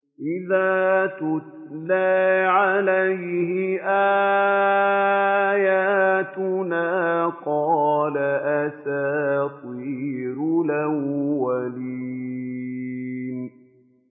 إِذَا تُتْلَىٰ عَلَيْهِ آيَاتُنَا قَالَ أَسَاطِيرُ الْأَوَّلِينَ